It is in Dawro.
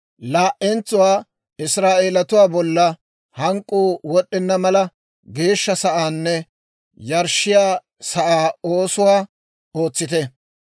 Laa"entsuwaa Israa'eelatuwaa bolla hank'k'uu wod'd'enna mala, geeshsha sa'aanne yarshshiyaa sa'aa oosuwaa ootsite.